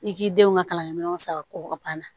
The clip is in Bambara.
I k'i denw ka kalankɛ minɛnw san ka bɔ ka ban